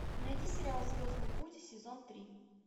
найди сериал звездный путь сезон три